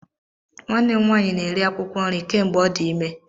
Nwanne m nwaanyị na-eri akwụkwọ nri kemgbe ọ dị ime.